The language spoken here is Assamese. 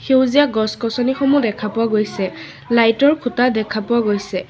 সেউজীয়া গছ গছনিসমূহ দেখা পোৱা গৈছে লাইটৰ খুঁটা দেখা পোৱা গৈছে।